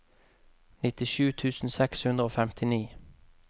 nittisju tusen seks hundre og femtini